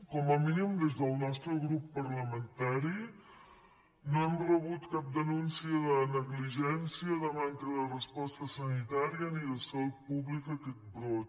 com a mínim des del nostre grup parlamentari no hem rebut cap denúncia de negligència de manca de resposta sanitària ni de salut pública a aquest brot